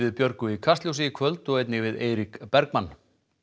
Björgu í Kastljósi í kvöld og einnig við Eirík Bergmann